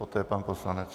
Poté pan poslanec.